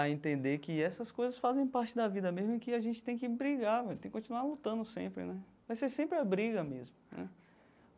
a entender que essas coisas fazem parte da vida mesmo, e que a gente tem que brigar velho, tem que continuar lutando sempre né, vai ser sempre a briga mesmo né.